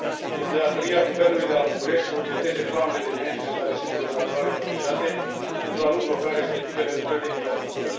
E de datoria guvernului de la București să urgenteze planurile de management ale siturilor naturale protejate, pentru a nu bloca respectivele lucrări de infrastructură.